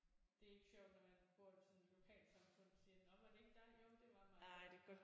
Det er ikke sjovt når man bor i sådan et lokalsamfund siger nå var det ikke dig? Jo det var mig